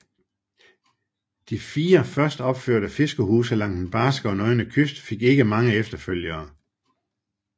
De fire først opførte fiskerhuse langs den barske og nøgne kyst fik ikke mange efterfølgere